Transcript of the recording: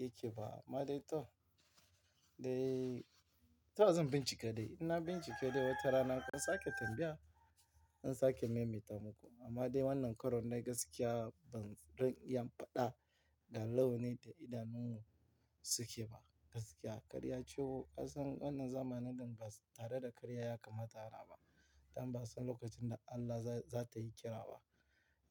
yake ba. Amma dai to, dai toh zan bincika dai. In na bincike dai watarana kun sakee tambaya zan sake maimaita muku. Amma dai wannan karon dai gaskiya ba zan iya in faɗa ga launin da idanun suke ba gaskiya. Karya ciwo kasan wannan zamanin nan ba tare da karya ya kamata fara ba. Dan ba a san lokacin da Allah za ta yi kira ba.